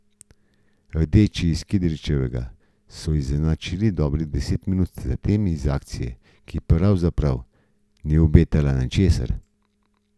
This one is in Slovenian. Rdeči iz Kidričevega so izenačili dobrih deset minut zatem iz akcije, ki pravzaprav ni obetala ničesar.